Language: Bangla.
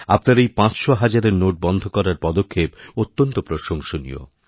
আপনার এই পাঁচশোহাজারের নোট বন্ধকরার পদক্ষেপ অত্যন্ত প্রশংসনীয়